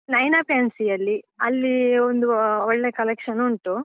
Naina fancy ಯಲ್ಲಿ ಅಲ್ಲಿ ಒಂದು ಅಹ್ ಒಳ್ಳೆ collection ಉಂಟು.